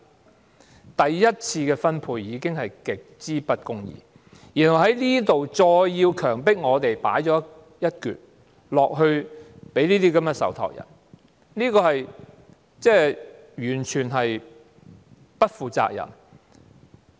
在第一次的分配極之不公義的情況下，當局再經強積金強迫我們交出一部分薪金給這些受託人，這做法完全不負責任。